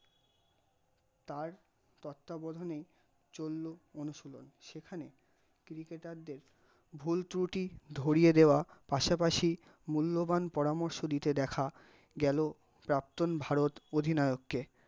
তার তত্ত্বাবধানে চলল অনুশীলন যেখানে cricket টারদের ভুল ত্রুটি ধরিয়ে দেওয়া পাশা পাশ, মূল্যবান পরামর্শ দিতে দেখা গেল প্রাক্তন ভারত অধিনায়ক কে